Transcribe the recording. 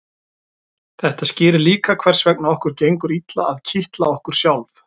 þetta skýrir líka hvers vegna okkur gengur illa að kitla okkur sjálf